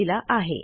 यांनी दिलेला आहे